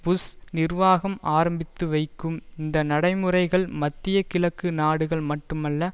push நிர்வாகம் ஆரம்பித்து வைக்கும் இந்த நடைமுறைகள் மத்திய கிழக்கு நாடுகளை மட்டுமல்ல